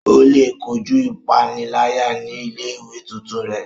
O le kojú ipanilaya ní ilé-ìwé tuntun rẹ